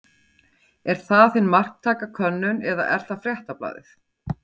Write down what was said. Er það hin marktæka könnun eða er það Fréttablaðið?